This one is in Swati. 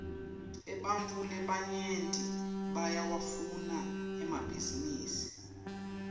ebantfu labanyenti bayawafuna emabhninisi